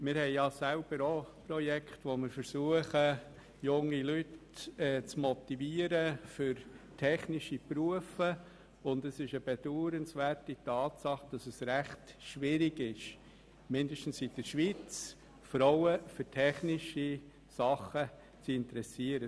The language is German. Wir haben ja selber auch Projekte, wo wir versuchen, junge Leute für technische Berufe zu motivieren, und es ist eine bedauernswerte Tatsache, dass es mindestens in der Schweiz recht schwierig ist, Frauen für technische Dinge zu interessieren.